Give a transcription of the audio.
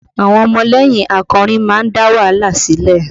Àwọn ọmọlẹ́yìn akọrin máa ń dá wàhálà sílẹ̀